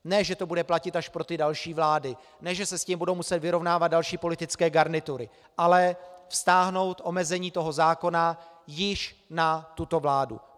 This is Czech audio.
Ne že to bude platit až pro ty další vlády, ne že se s tím budou muset vyrovnávat další politické garnitury, ale vztáhnout omezení toho zákona již na tuto vládu.